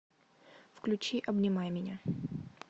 включи обнимай меня